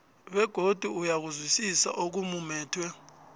begodu uyakuzwisisa okumumethwe